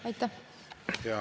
Aitäh!